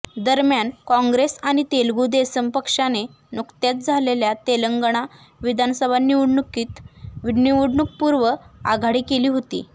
दरम्यान काँग्रेस आणि तेलुगू देसम पक्षाने नुकत्याच झालेल्या तेलंगणा विधानसभा निवडणुकीत निवडणूकपूर्व आघाडी केली होती